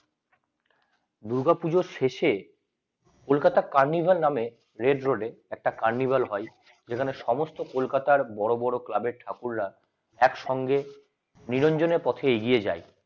দূর্গা পুজোর শেষে কলকাতা red রোডে একটা carnival হয় এখানে সমস্ত কলকাতার বড় বড় ক্লাবের ঠাকুররা একসঙ্গে নিরঞ্জন এর পথে এগিয়ে যায়